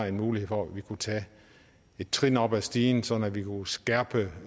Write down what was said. en mulighed for at vi kunne tage et trin op ad stigen sådan at vi kunne skærpe